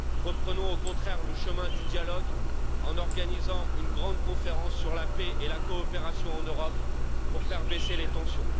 Reprenons au contraire le chemin du dialogue en organisant une grande conférence sur la paix et la coopération en Europe pour faire baisser les tensions.